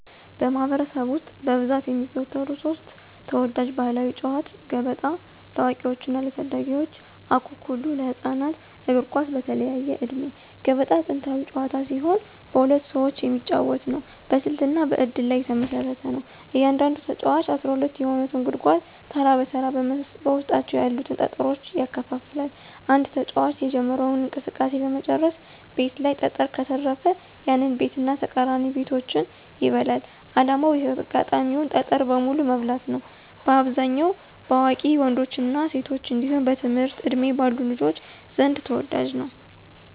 በማኅበረሰብ ውስጥ በብዛት የሚዘወተሩ ሦስት ተወዳጅ ባሕላዊ ጨዋታዎች፦ ገበጣ (ለአዋቂዎችና ለታዳጊዎች) ፣አኩኩሉ (ለህፃናት)፣ እግር ኳስ (በተለያየ ዕድሜ)። ገበጣ ጥንታዊ ጨዋታ ሲሆን በሁለት ሰዎች የሚጫወት ነው። በስልትና በእድል ላይ የተመሰረተ ነው። እያንዳንዱ ተጫዋች 12 የሆኑትን ጉድጓዶች ተራ በተራ በውስጣቸው ያሉትን ጠጠሮች ያከፋፍላል። አንድ ተጫዋች የጀመረው እንቅስቃሴ በመጨረሻው ቤት ላይ ጠጠር ከተረፈ፣ ያንን ቤትና ተቃራኒ ቤቶችን ይበላል። ዓላማው የተጋጣሚን ጠጠር በሙሉ መብላት ነው። በአብዛኛው በአዋቂ ወንዶችና ሴቶች እንዲሁም በትምህርት ዕድሜ ባሉ ልጆች ዘንድ ተወዳጅ ነው።